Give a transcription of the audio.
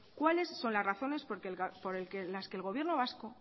cuáles son las razones por las que el gobierno vasco